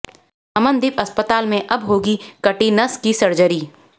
अमनदीप अस्पताल में अब होगी कटी नस की सर्जरी